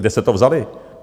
Kde jste to vzali?